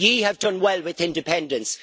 You have done well with independence.